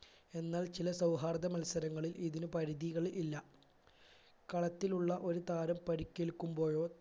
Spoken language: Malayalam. എന്ന ചില സൗഹാർദ്ദ മത്സരങ്ങളിൽ ഇതിനു പരിധികൾ ഇല്ല കളത്തിലുള്ള ഒരു താരം പരിക്കേൽക്കുമ്പോഴോ